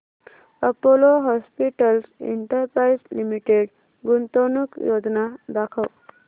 Apollo Hospitals Enterprise Limited गुंतवणूक योजना दाखव